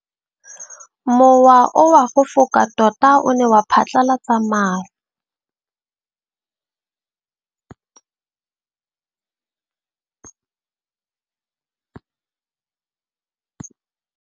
Mowa o wa go foka tota o ne wa phatlalatsa maru.